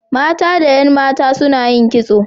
Mata da 'yan mata suna yin kitso.